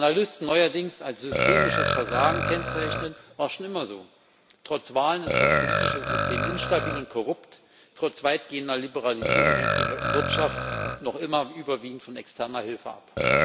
Was Analysten neuerdings als systemisches Versagen kennzeichnen, war schon immer so Trotz Wahlen ist das politische System instabil und korrupt, trotz weitgehender Liberalisierung hängt die Wirtschaft noch immer überwiegend von externer Hilfe ab.